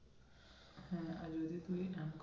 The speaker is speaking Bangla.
হ্যাঁ আর যদি তুই